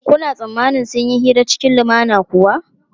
Kuna tsammanin sun yi hira cikin lumana kuwa?